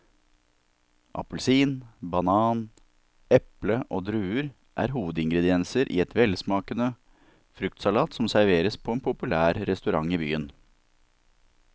Appelsin, banan, eple og druer er hovedingredienser i en velsmakende fruktsalat som serveres på en populær restaurant i byen.